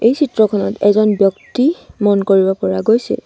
এই চিত্ৰখনত এজন ব্যক্তি মন কৰিব পৰা গৈছে।